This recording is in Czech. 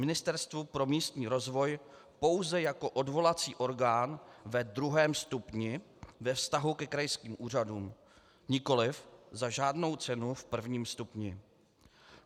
Ministerstvo pro místní rozvoj pouze jako odvolací orgán ve druhém stupni ve vztahu ke krajským úřadům, nikoliv za žádnou cenu v prvním stupni.